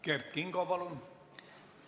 Kert Kingo, palun!